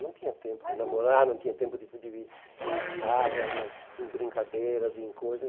Não tinha tempo de namorar, não tinha tempo de de ir de ir em farra, em em brincadeiras, em coisas.